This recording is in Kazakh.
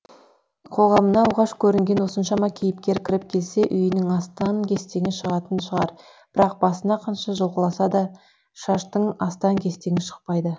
қоғамына оғаш көрінген осыншама кейіпкер кіріп келсе үйінің астан кестені шығатын шығар бірақ басын қанша жұлқыласа да шаштың астан кестен шықпайды